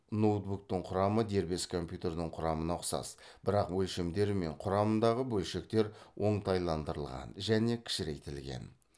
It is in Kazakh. ноутбуктық құрамы дербес компьютердің құрамына ұқсас бірақ өлшемдері мен құрамындағы бөлшектер оңтайландырылған және кішірейтілген